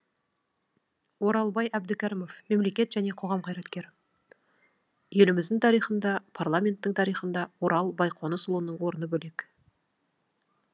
оралбай әбдікәрімов мемлекет және қоғам қайраткері еліміздің тарихында парламенттің тарихында орал байқонысұлының орны бөлек